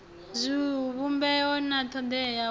zwivhumbeo na thodea ya u